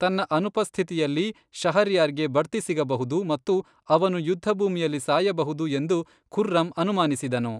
ತನ್ನ ಅನುಪಸ್ಥಿತಿಯಲ್ಲಿ, ಶಹರ್ಯಾರ್ಗೆ ಬಡ್ತಿ ಸಿಗಬಹುದು ಮತ್ತು ಅವನು ಯುದ್ಧಭೂಮಿಯಲ್ಲಿ ಸಾಯಬಹುದು ಎಂದು ಖುರ್ರಂ ಅನುಮಾನಿಸಿದನು.